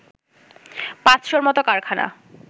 পাঁচশর মত কারখানা